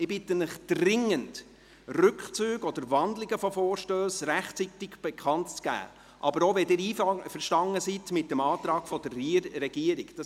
Ich bitte Sie Rückzüge oder Wandlungen von Vorstössen rechtzeitig bekannt zu geben, aber auch, wenn Sie mit einem Antrag der Regierung einverstanden sind.